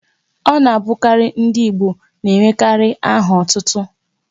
Ọ na abụkarị ndị Igbo n'enwekarị áhà ótútú